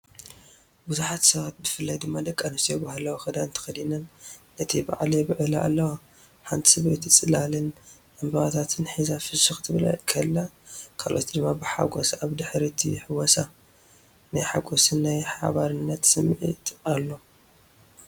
ብዙሓት ሰባት ብፍላይ ድማ ደቂ ኣንስትዮ ባህላዊ ክዳን ተኸዲነን ነቲ በዓል የብዕላ ኣለዋ። ሓንቲ ሰበይቲ ጽላልን ዕንበባታትን ሒዛ ፍሽኽ ክትብል ከላ፡ ካልኦት ድማ ብሓጐስ ኣብ ድሕሪት ይሕወሳ። ናይ ሓጎስን ናይ ሓባርነትን ስምዒት ኣሎ።